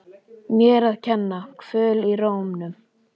Mér að kenna- Kvöl í rómnum.